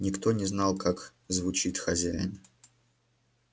никто не знал как звучит хозяин